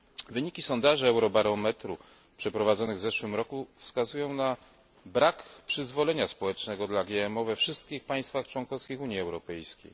Wyniki sondaży Eurobarometru przeprowadzonych w zeszłym roku wskazują na brak przyzwolenia społecznego dla GMO we wszystkich państwach członkowskich Unii Europejskiej.